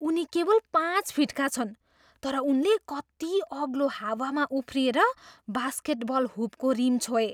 उनी केवल पाँच फिटका छन् तर उनले कति अग्लो हावामा उफ्रिएर बास्केटबल हुपको रिम छोए।